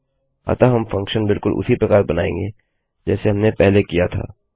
अतः हम फंक्शन बिलकुल उसी प्रकार बनाएँगे जैसे हमने पहले किया था